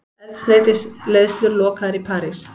Eldsneytisleiðslur lokaðar í París